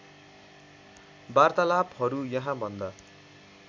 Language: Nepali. वार्तालापहरू यहाँभन्दा